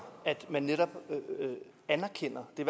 at man netop anerkender det